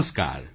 નમસ્કાર